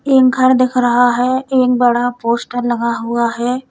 एक घर दिख रहा है एक बड़ा पोस्टर लगा हुआ है।